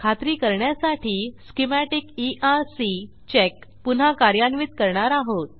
खात्री करण्यासाठी schematic ERC check पुन्हा कार्यान्वित करणार आहोत